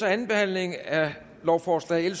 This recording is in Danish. er anden behandling af lovforslag